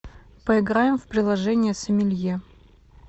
поиграем в приложение сомелье